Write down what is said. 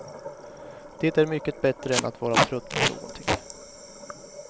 Det är mycket bättre än att vara trött på någonting.